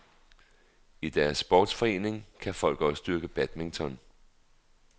I deres sportsforening kan folk også dyrke badminton.